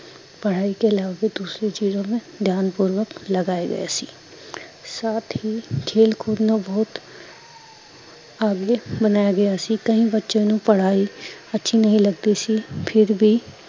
ਪੜਾਈ ਕੇ ਇਲਾਵਾ ਦੂਸਰੀ ਚਿਜੋ ਮੇ ਬੀ ਧਿਆਂਪੂਰਵਕ ਲਗਾਏ ਗਏ ਸੀ ਸਾਥ ਹੀਂ ਖੇਲ ਕੂਦ ਨੂੰ ਬਹੁਤ ਆਗੇ ਬਣਾਯਾ ਗਯਾ ਸੀ, ਕਈ ਬਚੋ ਨੂੰ ਪੜਾਈ, ਅੱਛੀ ਨਹੀਂ ਲਗਤੀ ਸੀ ਫਿਰ ਬੀ